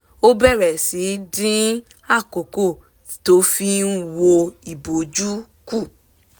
ó bẹ̀rẹ̀ sí í dín àkókò tó fi n wo iboju kù